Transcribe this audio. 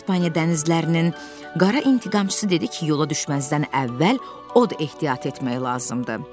İspaniya dənizlərinin qara intiqamçısı dedi ki, yola düşməzdən əvvəl od ehtiyat etmək lazımdır.